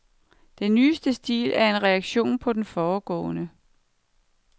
Den nyeste stil er en reaktion på den foregående.